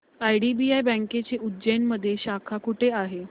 IDBI बँकेची उज्जैन मध्ये शाखा कुठे आहे